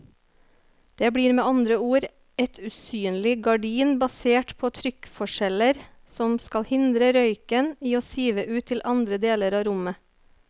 Det blir med andre ord et usynlig gardin basert på trykkforskjeller som skal hindre røyken i å sive ut til andre deler av rommet.